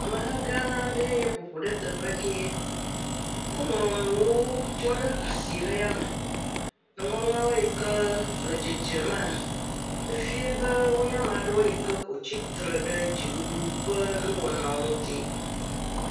Ameha gã aɖe ye ƒo ƒu ɖe teƒe kie, woŋlɔ nuwo tsɔ ɖe asi le ya me, nuŋɔŋlɔ yke le dzedzema, efie be wonye ame ɖewo yike ko tsitre ɖe dziɖuɖuƒe nuwɔnawo ŋuti.